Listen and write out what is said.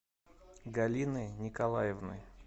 галины николаевны